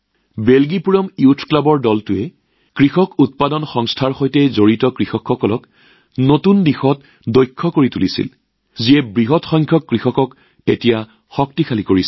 বেলজীপুৰম যুৱ ক্লাবৰ দলটোৱে কৃষক উৎপাদক সংস্থা অৰ্থাৎ এফপিঅ ৰ সৈতে জড়িত কৃষকসকলকো নতুন দক্ষতা শিকাইছিল যিয়ে বৃহৎ সংখ্যক কৃষকক সবল কৰি তুলিছে